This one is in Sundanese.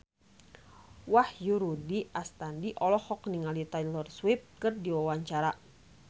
Wahyu Rudi Astadi olohok ningali Taylor Swift keur diwawancara